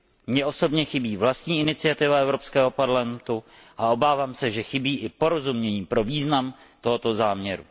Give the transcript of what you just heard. Mně osobně chybí vlastní iniciativa Evropského parlamentu a obávám se, že chybí i porozumění pro význam tohoto záměru.